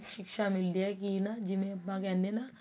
ਸ਼ਿਕਸ਼ਾ ਮਿਲਦੀ ਹੈ ਜਿਵੇਂ ਆਪਾਂ ਕਿਹਨੇ ਆ